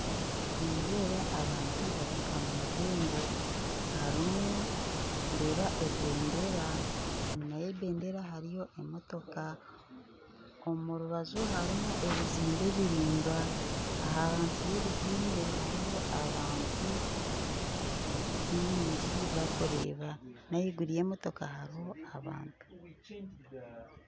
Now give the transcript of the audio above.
Nindeeba abantu bari omu rurembo harimu ndeeba ebendera enyima y'ebendera hariyo emotoka omu rubaju harimu ebizimbe biraingwa ahansi y'ebizimbe hariho abantu baingi barikureeba n'ahaiguru y'emotoka hariho abantu